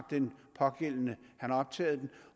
den pågældende optaget